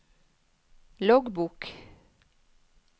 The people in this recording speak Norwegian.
loggbok